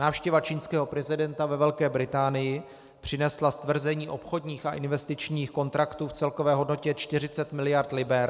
Návštěva čínského prezidenta ve Velké Británii přinesla stvrzení obchodních a investičních kontraktů v celkové hodnotě 40 miliard liber.